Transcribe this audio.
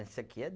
Esse aqui é